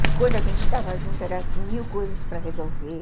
Quando a gente estava junto, era mil coisas para resolver.